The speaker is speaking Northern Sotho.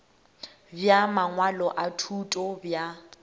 bja mangwalo a thuto bja